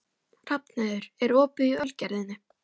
Hrafnheiður, er opið í Ölgerðinni?